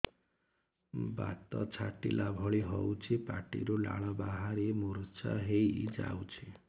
ବାତ ଛାଟିଲା ଭଳି ହଉଚି ପାଟିରୁ ଲାଳ ବାହାରି ମୁର୍ଚ୍ଛା ହେଇଯାଉଛି